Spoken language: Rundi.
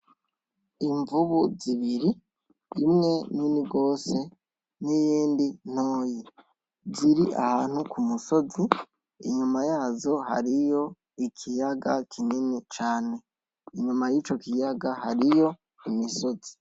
Imvubu zibiri, imwe nini gose niyindi ntoyi ziri ahantu kumusozi inyuma yazo hariyo ikiyaga kinini cane, inyuma yico kiyaga hariyo imisozi .